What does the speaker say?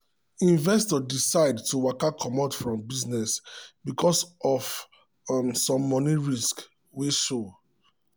investor decide to waka comot from business because of um some money risk wey show.